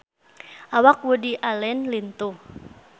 Awak Woody Allen lintuh